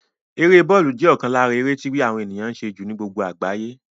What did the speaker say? Eré bọ́lù jẹ́ ọ̀kan lára àwọn eré tí àwọn ènìyàn ń ṣe jù ní gbogbo àgbáyé